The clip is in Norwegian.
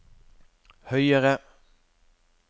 høyere